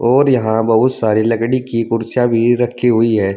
और यहां बहुत सारी लकड़ी की कुर्सियां भी रखी हुई हैं।